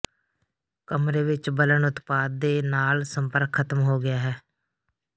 ਕਮਰੇ ਵਿੱਚ ਬਲਨ ਉਤਪਾਦ ਦੇ ਨਾਲ ਸੰਪਰਕ ਖਤਮ ਹੋ ਗਿਆ ਹੈ